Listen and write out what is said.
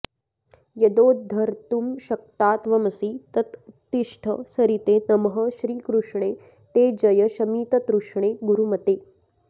यदोद्धर्तुं शक्ता त्वमसि तत उत्तिष्ठ सरिते नमः श्रीकृष्णे ते जय शमिततृष्णे गुरुमते